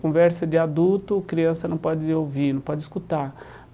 Conversa de adulto, criança não pode ouvir, não pode escutar.